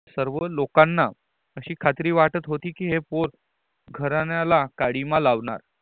सर्व लोकांना अशी खात्री वाटत होती कि ही पोर घरण्याला कालिमा लावणार